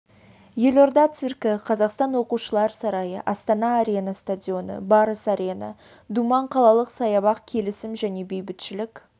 елорда циркі қазақстан оқушылар сарайы астана-арена стадионы барыс арена думан қалалық саябақ келісім және бейбітшілік